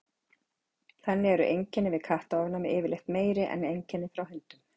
Þannig eru einkenni við kattaofnæmi yfirleitt meiri en einkenni frá hundum.